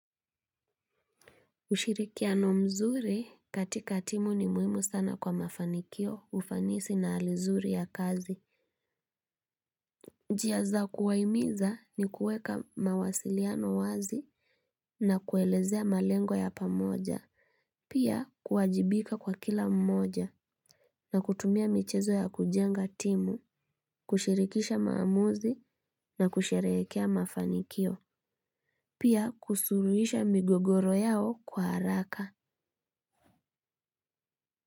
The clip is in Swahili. Ushirikiano mzuri katika timu ni muhimu sana kwa mafanikio ufanisi na hali zuri ya kazi njia za kuwahimiza ni kuweka mawasiliano wazi na kuelezea malengo ya pamoja pia kuwajibika kwa kila mmoja na kutumia michezo ya kujenga timu kushirikisha maamuzi na kusherehekea mafanikio pia kusuluhisha migogoro yao kwa haraka.